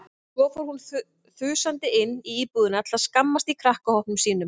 Mynd sem sýnir orkuríka stróka hraðfara einda þeytast frá svartholi í iðrum sólstjörnu.